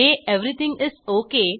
हे everything is okay